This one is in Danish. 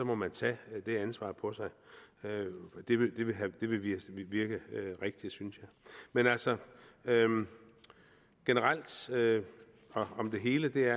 må man tage det ansvar på sig det vil virke rigtigt synes jeg men altså generelt om det hele vil